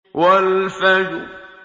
وَالْفَجْرِ